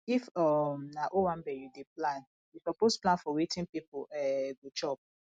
if um na owanbe you dey plan you suppose plan for wetin pipo um go chop